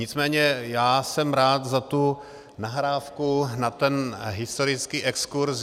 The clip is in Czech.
Nicméně já jsem rád za tu nahrávku na ten historický exkurz.